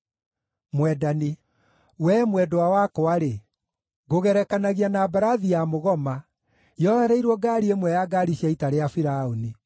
Wee, mwendwa wakwa-rĩ, ngũgerekanagia na mbarathi ya mũgoma yohereirwo ngaari ĩmwe ya ngaari cia ita rĩa Firaũni.